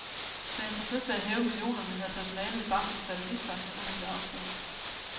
Da han forsøgte at hæve millionerne, havde personalet i banken fattet mistanke, og han blev afsløret.